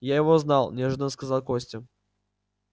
я его знал неожиданно сказал костя